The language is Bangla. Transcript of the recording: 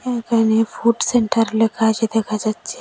একানে ফুড সেন্টার লেখা আছে দেখা যাচ্ছে।